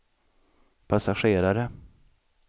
passagerare